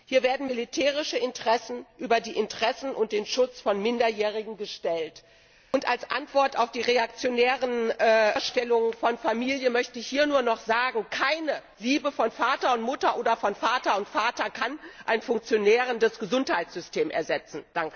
Hier werden militärische Interessen über die Interessen und den Schutz von Minderjährigen gestellt. Und als Antwort auf die reaktionären Vorstellungen von Familie möchte ich hier nur noch sagen Keine Liebe von Vater und Mutter oder von Vater und Vater kann ein funktionierendes Gesundheitssystem ersetzen.